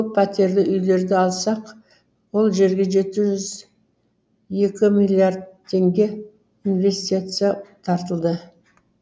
көппәтерлі үйлерді алсақ ол жерге жеті жүз екі миллиард теңге инвестиция тартылды